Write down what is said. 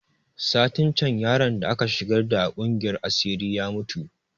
Satin can yaron da aka shigar da a kungiyar asiri ya mutu